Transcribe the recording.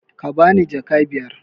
Ka bani jaka biyar!